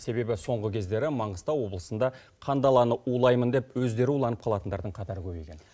себебі соңғы кездері маңғыстау облысында қандаланы улаймын деп өздері уланып қалатындардың қатары көбейген